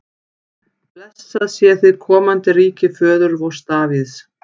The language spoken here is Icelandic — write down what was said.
Blessað sé hið komandi ríki föður vors Davíðs!